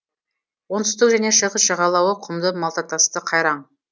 оңтүстік және шығыс жағалауы құмды малтатасты қайраң